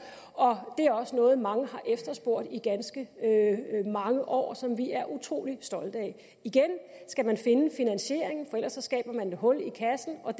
og det er også noget mange har efterspurgt i ganske mange år og noget som vi er utrolig stolte af igen skal man finde finansieringen for ellers skaber man et hul i kassen og